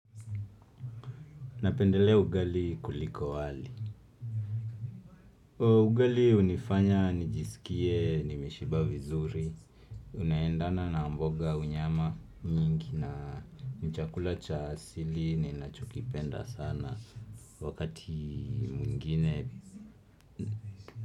Napendelea ugali kuliko wali ugali hunifanya nijisikie nimeshiba vizuri Unaendana na mboga unyama nyingi na ni chakula cha asili ni ninachokipenda sana wakati mwingine.